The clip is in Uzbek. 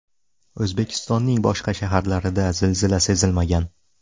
O‘zbekistonning boshqa shaharlarida zilzila sezilmagan.